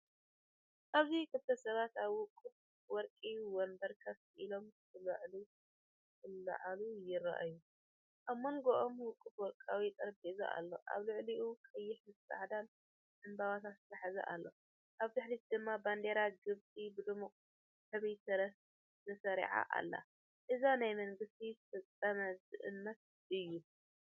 ኣብዚ ክልተ ሰባት ኣብ ውቁብ ወርቂ መንበር ኮፍ ኢሎም ክዕልሉ ይረኣዩ። ኣብ መንጎኦም ውቁብ ወርቃዊ ጠረጴዛ ኣሎ፣ ኣብ ልዕሊኡ ቀይሕን ጻዕዳን ዕምባባታት ዝሓዘ ኣሎ። ኣብ ድሕሪት ድማ ባንዴራ ግብጺ ብድሙቕ ሕብሪ ተሰሪዓ ኣላ። እዚ ናይ መንግስቲ ፍጻመ ዝእምት እዩ።